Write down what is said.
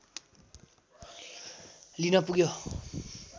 लिन पुग्यो